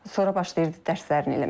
Sonra başlayırdı dərslərini eləməyə.